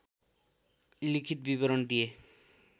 लिखित विवरण दिए